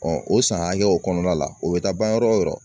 o san hakɛw kɔnɔna la o bɛ taa ban yɔrɔ o yɔrɔ